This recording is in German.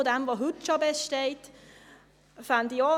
Wir befinden uns in einem steten Wandel.